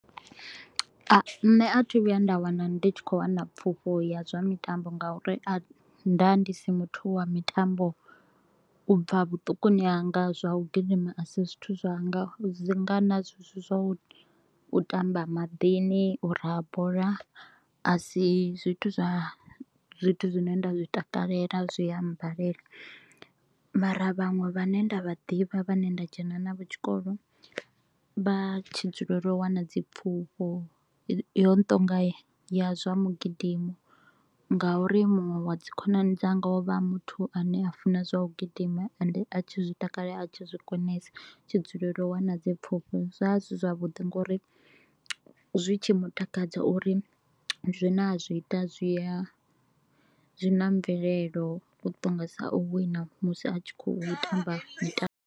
Nṋe a thi thu vhuya nda wana ndi tshi kho u wana pfufho ya zwa mitambo nga u ri nda ndi si muthu wa mitambo u bva vhuṱukuni hanga, zwa u gidima a si zwithu zwanga. Dzi ḓi nga na zwezwi zwa u tamba maḓini, u raha bola, a si zwithu zwa zwithu zwine nda zwi takalela, zwi a mbalela. Mara vhaṅwe vhane nda vha ḓivha vhane nda dzhena navho tshikolo, vha tshi dzulela u wana dzipfufho yo no to u nga ya zwa migidimo nga u ri muṅwe wa dzi khonani dzanga o vha e muthu a ne a funa zwa u gidima. Ende a tshi zwi takale a tshi zwi konesa, a tshi dzulela u wana dzipfufho, zwa zwi zwavhuḓi nga u ri zwi tshi mutakadza u ri zwine a zwi ita zwi a zwi na mvelelo, u ṱongisa u wina musi a tshi kho u tamba mitambo.